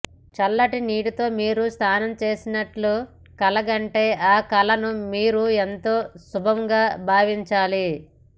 చల్లటి నీటితో మీరు స్నానం చేస్తున్నట్లు కలగంటే ఆ కలను మీరు ఎంతో శుభంగా భావించాలి